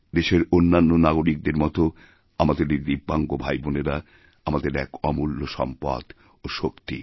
দেশের অন্যান্য নাগরিকদের মতো আমাদের এই দিব্যাঙ্গভাইবোনেরা আমাদের এক অমূল্য সম্পদ ও শক্তি